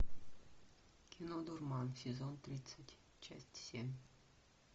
кино дурман сезон тридцать часть семь